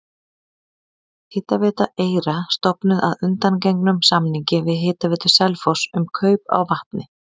Hitaveita Eyra stofnuð að undangengnum samningi við Hitaveitu Selfoss um kaup á vatni.